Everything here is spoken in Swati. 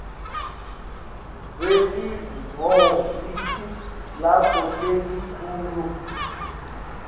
lwelihhovisi lakho lelikhulu